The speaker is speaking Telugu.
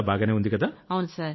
అంతా బాగానే ఉందికదా